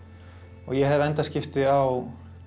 og ég hef endaskipti á